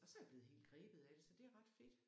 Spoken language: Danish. Og så er jeg blevet helt grebet af det så fedt ret fedt